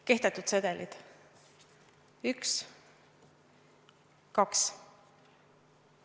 Kehtetud sedelid: 1, 2.